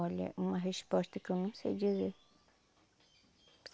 Olha, uma resposta que eu não sei dizer.